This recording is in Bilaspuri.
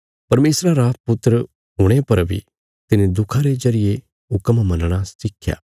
परमेशरा रा पुत्र हुणे पर बी तिने दुखां रे जरिये हुक्म मनणा सिखया